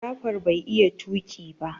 Jafar bai iya tuki ba.